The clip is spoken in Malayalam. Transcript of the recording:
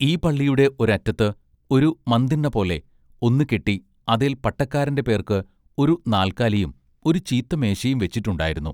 ഈ പള്ളിയുടെ ഒരറ്റത്ത് ഒരു മന്തിണ്ണപോലെ ഒന്നു കെട്ടി അതേൽ പട്ടക്കാരന്റെ പേർക്ക് ഒരു നാല്ക്കാലിയും ഒരു ചീത്ത മേശയും വെച്ചിട്ടുണ്ടായിരുന്നു.